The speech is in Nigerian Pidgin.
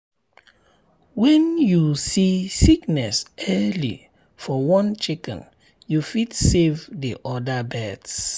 when you see sickness early for one chicken you fit save the other birds.